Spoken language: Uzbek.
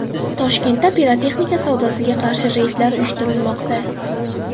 Toshkentda pirotexnika savdosiga qarshi reydlar uyushtirilmoqda.